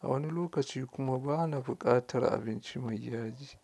a wani lokaci kuma bana buƙatar abinci mai yaji.